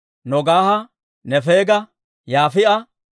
Nogaaha, Nefeega, Yaafi'a,